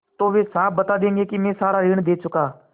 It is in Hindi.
तो वे साफ बता देंगे कि मैं सारा ऋण दे चुका